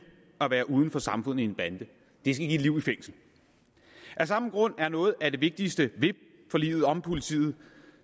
at være uden for samfundet i en bande det skal give et liv i fængsel af samme grund er noget af det vigtigste ved forliget om politiet